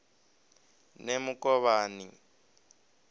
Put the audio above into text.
nemukovhani